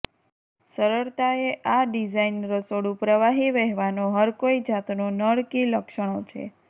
સરળતા એ આ ડિઝાઇન રસોડું પ્રવાહી વહેવાનો હરકોઈ જાતનો નળ કી લક્ષણો છે